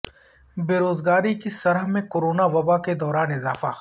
بے روزگاری کی شرح میں کرونا وبا کے دوران اضافہ